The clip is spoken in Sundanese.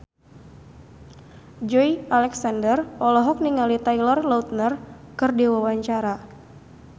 Joey Alexander olohok ningali Taylor Lautner keur diwawancara